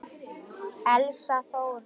Elsa Þóra.